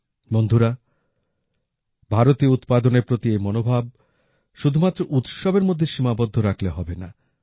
বন্ধুরা ভারতীয় উৎপাদনের প্রতি এই মনোভাব শুধুমাত্র উৎসবের মধ্যে সীমাবদ্ধ রাখলে হবে না